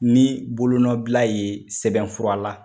Ni bolo nɔ bila ye sɛbɛnfura la.